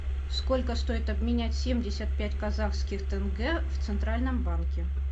сколько стоит обменять семьдесят пять казахских тенге в центральном банке